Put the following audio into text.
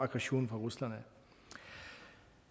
aggression fra rusland